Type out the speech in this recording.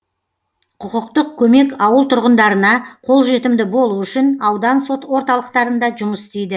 құқықтық көмек ауыл тұрғындарына қолжетімді болу үшін аудан орталықтарында жұмыс істейді